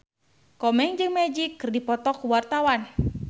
Komeng jeung Magic keur dipoto ku wartawan